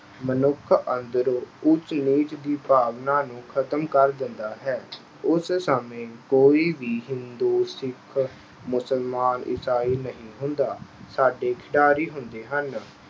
ਮਨੁੱਖ ਅੰਦਰੋਂ ਊਚ-ਨੀਚ ਦੀ ਭਾਵਨਾ ਨੂੰ ਖਤਮ ਕਰ ਦਿੰਦਾ ਹੈ। ਉਸ ਸਮੇਂ ਕੋਈ ਵੀ ਹਿੰਦੂ, ਸਿੱਖ, ਮੁਸਲਮਾਨ, ਈਸਾਈ ਨਹੀਂ ਹੁੰਦਾ। ਸਾਡੇ ਖਿਡਾਰੀ ਹੁੰਦੇ ਹਨ।